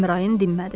Əmraən dinmədi.